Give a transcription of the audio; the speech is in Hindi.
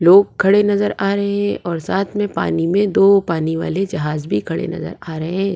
लोग खड़े नजर आ रहे हैं और साथ में पानी में दो पानी वाले जहाज भी खड़े नजर आ रहे हैं।